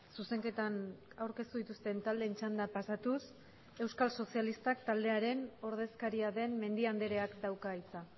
zuzenketan aurkeztu dituzten taldeen txanda pasatuz euskal sozialistak taldearen ordezkaria den mendia andreak dauka hitza